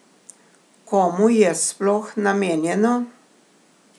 Komu je sploh namenjeno?